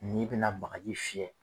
N'i bɛna bagaji fiyɛ